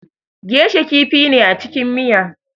Geisha kifi ne a cikin miya